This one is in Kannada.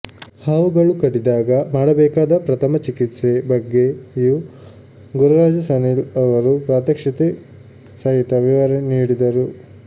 ಹಾವುಗಳು ಕಡಿದಾಗ ಮಾಡಬೇಕಾದ ಪ್ರಥಮ ಚಿಕಿತ್ಸೆ ಬಗ್ಗೆಯೂ ಗುರುರಾಜ ಸನಿಲ್ ಅವರು ಪ್ರಾತ್ಯಕ್ಷಿಕೆ ಸಹಿತ ವಿವರಿ ನೀಡಿದರು